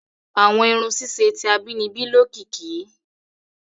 Àwọn irun ṣiṣe ti abínibí lokiki.